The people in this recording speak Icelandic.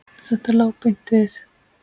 Þetta lá beint við.